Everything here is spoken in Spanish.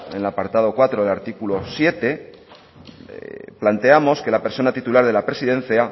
en el apartada cuatro del artículo siete planteamos que la persona titular de la presidencia